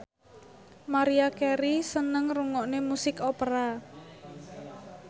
Maria Carey seneng ngrungokne musik opera